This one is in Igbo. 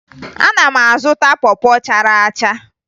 Ana m azụta pọ pọ chara acha